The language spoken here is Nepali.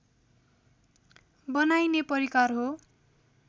बनाइने परिकार हो